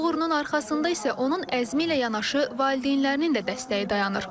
Bu uğrunun arxasında isə onun əzmi ilə yanaşı valideynlərinin də dəstəyi dayanır.